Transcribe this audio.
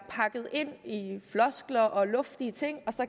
pakket ind i floskler og luftige ting